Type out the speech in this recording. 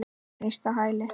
Snýst á hæli.